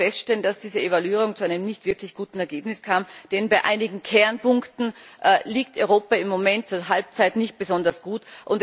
Leider müssen wir feststellen, dass diese Evaluierung zu einem nicht wirklich guten Ergebnis kam, denn bei einigen Kernpunkten liegt Europa im Moment zur Halbzeit nicht besonders gut.